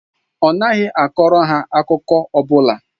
Ọ naghị akọrọ ha akụkọ ọ bụla.